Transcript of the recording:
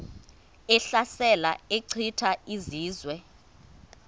ehlasela echitha izizwe